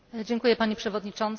Pani Przewodnicząca!